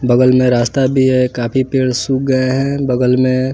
बगल में रास्ता भी है काफी पेड़ सूख गए हैं बगल मे --